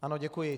Ano, děkuji.